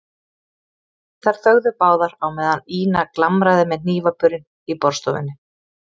Þær þögðu báðar á meðan Ína glamraði með hnífapörin í borðstofunni.